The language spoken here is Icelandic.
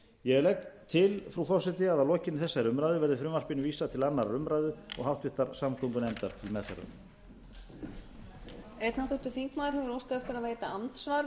ég legg til frú forseti að lokinni þessari umræðu verði frumvarpinu vísað til annarrar umræðu og háttvirtrar samgöngunefndar til meðferðar